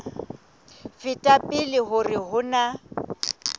feta pele hore ho na